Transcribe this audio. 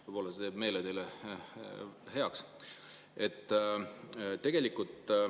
Võib-olla see teeb teil meele heaks.